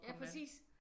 Ja præcis